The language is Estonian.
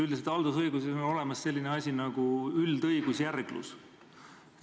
Üldiselt on haldusõiguses olemas selline asi nagu üldõigusjärglus.